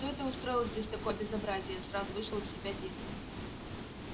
кто это устроил здесь такое безобразие сразу вышел из себя дин